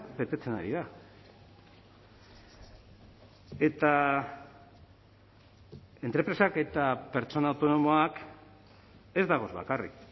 betetzen ari da eta entrepresak eta pertsona autonomoak ez dagoz bakarrik